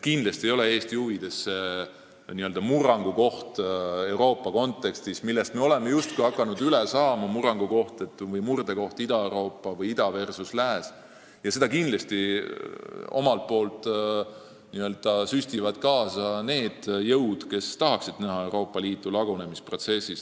Kindlasti ei ole Eesti huvides süvendada Euroopa kontekstis n-ö murdekohta ida versus lääs, millest me oleme justkui hakanud üle saama ja millele omalt poolt n-ö süstivad juurde need jõud, kes tahaksid näha Euroopa Liitu lagunemisprotsessis.